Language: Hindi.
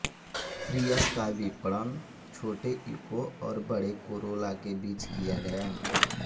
प्रियस का विपणन छोटे इको और बड़े कोरोला के बीच किया गया